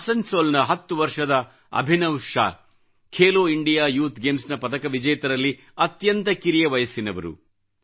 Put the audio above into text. ಆಸನ್ಸೋ ಲ್ ನ 10 ವರ್ಷದ Abhinav Shaw Khelo India youth games ನ್ನು ಪದಕ ವಿಜೇತರಲ್ಲಿ ಅತ್ಯಂತ ಕಿರಿಯ ವಯಸ್ಸಿನವರು